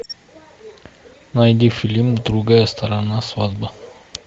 найди фильм другая сторона свадьба